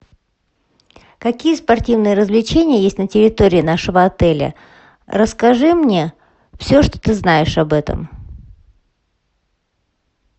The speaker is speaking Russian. какие спортивные развлечения есть на территории нашего отеля расскажи мне все что ты знаешь об этом